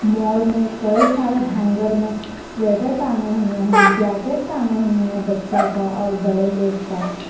Mall में कई सारे हैंगर में स्वेटर टांगे हुए हैं जैकट टांगे हुए हैं बच्चा का और बड़े लोग का।